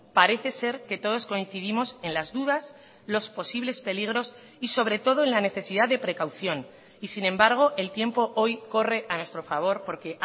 parece ser que todos coincidimos en las dudas los posibles peligros y sobre todo en la necesidad de precaución y sin embargo el tiempo hoy corre a nuestro favor porque